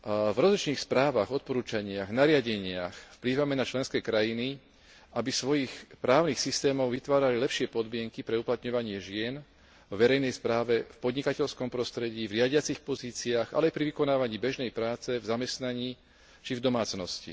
V rozličných správach, odporúčaniach, nariadeniach vplývame na členské krajiny, aby vo svojich právnych systémoch vytvárali lepšie podmienky pre uplatňovanie žien vo verejnej správe, podnikateľskom prostredí, v riadiacich pozíciách, ale aj pri vykonávaní bežnej práce v zamestnaní či v domácnosti.